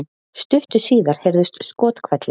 Stuttu síðar heyrðust skothvellir